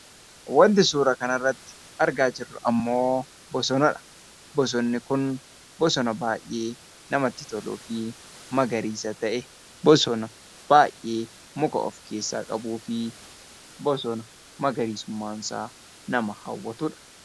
Wanti suura kana irratti argaa jirru bosonadha. Bosonni kun bosona baay'ee namatti toluu fi magariisa ta'e, bosona muka baay'ee of keessaa qabuu fi bosona magariisummaan isaa nama hawwatudha.